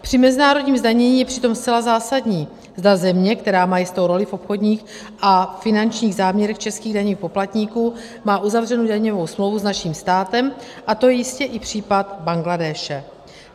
Při mezinárodním zdanění je přitom zcela zásadní, zda země, která má jistou roli v obchodních a finančních záměrech českých daňových poplatníků, má uzavřenou daňovou smlouvu s naším státem, a to je jistě i případ Bangladéše.